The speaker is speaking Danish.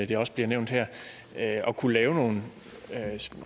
det også bliver nævnt her at kunne lave nogle